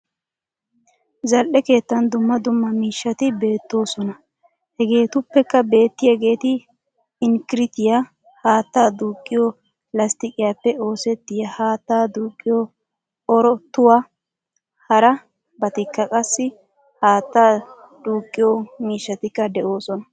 Zal"ee keettan dumma dumma miishshati bayzetoosona. Hegeettuppe beettiyagetti inkkirttiya, haataa duuqiyo lasttiqiyappe oosettiya haattaa duuqiyo orottuwaa. Hara batikka qassi haattaa duuqiyo miishshatikka de'oosona.